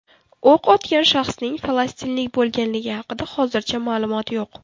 O‘q otgan shaxsning falastinlik bo‘lganligi haqida hozircha ma’lumot yo‘q.